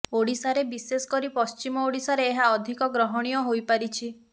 ଓଡ଼ିଶାରେ ବିଶେଷ କରି ପଶ୍ଚିମ ଓଡ଼ିଶାରେ ଏହା ଅଧିକ ଗ୍ରହଣୀୟ ହୋଇ ପାରିଛି